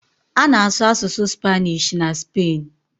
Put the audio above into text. A na-asụ asụsụ Spanish na Spen